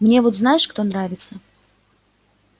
мне вот знаешь кто нравится